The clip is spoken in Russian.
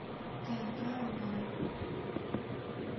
тнт онлайн